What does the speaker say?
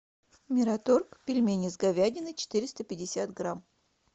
мираторг пельмени с говядиной четыреста пятьдесят грамм